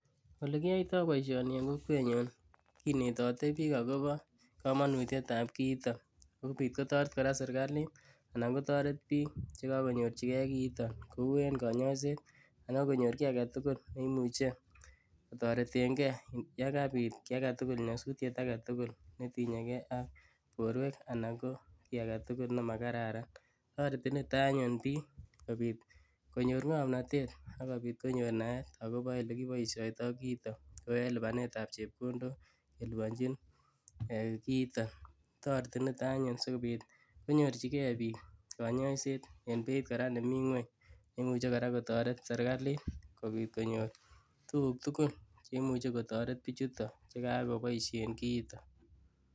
Olekiyoito boishoni en kokwenyun kinetote biik akobo komonutyetab kiiton sikobiit kotoret kora serikalit anan kotoret biik chekokonyorchikee kiiton kouu en konyoiset akonyor kii aketukul neimuche kotoreteng'e yekabit kíi aketukul nyosutyet aketukul netinyekee ak borwek anan ko kii aketukul nemakararan, toreti niton anyun biik sikobiit konyor ng'omnotet akobiit konyor naet akobo elekiboishoitoi kiiton kouu en libanetab chepkondok kelibonchin kiiton, toreti niton anyun sikobiit konyorchikee biik konyoiset en beiit kora nemii ngweny neimuche kora kotoret serikalit kobiit konyor tukuk tukul cheimuche kotoret bichuton chekakoboishen kiiton.